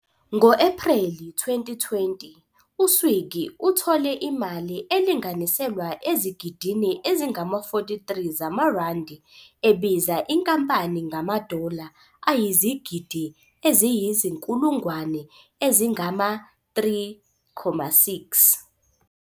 Ngo-Ephreli 2020, u-Swiggy uthole imali elinganiselwa ezigidini ezingama-43 zamaRandi ebiza inkampani ngama-dollar ayizigidi eziyizinkulungwane ezingama-3.6.